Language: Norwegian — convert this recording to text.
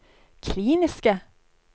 kliniske